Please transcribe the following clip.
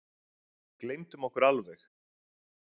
Gleymdum okkur alveg.